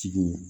Tigiw